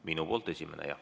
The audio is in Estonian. Minu poolt esimene, jah.